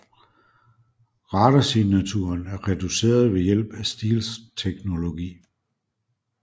Radarsignaturen er reduceret ved hjælp af stealth teknologi